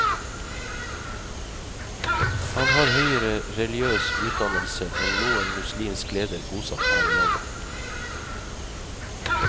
Han har høyere religiøs utdannelse enn noen muslimsk leder bosatt her i landet.